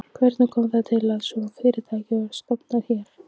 Hvernig kom það til að svona fyrirtæki var stofnað hér?